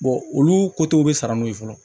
olu kotow bɛ sara n'o ye fɔlɔ